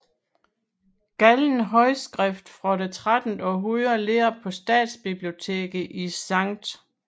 Gallen håndskriftet fra det 13 århundrede ligger på stiftsbiblioteket i Skt